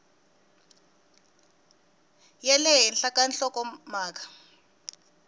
ya le henhla ka nhlokomhaka